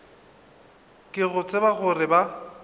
ka go tseba gore ba